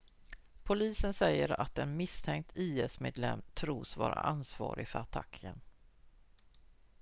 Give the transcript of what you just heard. polisen säger att en misstänkt is-medlem tros vara ansvarig för attacken